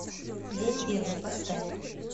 день первый поставь